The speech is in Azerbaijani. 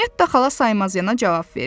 Netta xala saymaz yana cavab verdi.